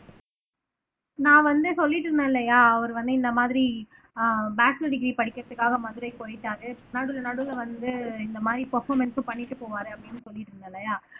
நான் வந்து சொல்லிட்டு இருந்தேன் இல்லையா அவரு வந்து இந்த மாதிரி ஆஹ் மாஸ்டர் டிகிரி படிக்கிறதுக்காக மதுரைக்கு போயிட்டாரு நடுவுல நடுவுல வந்து இந்த மாதிரி பர்பாமன்ஸ்ம் பண்ணிட்டு போவாரு அப்படின்னு சொல்லிட்டு இருந்த இல்லையா